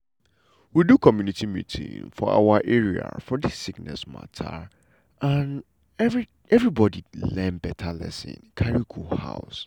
we do community meeting for awa area for dis sickness mata and everybody learn beta lesson carry go house.